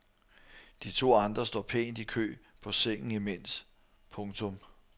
De to andre står pænt i kø på sengen imens. punktum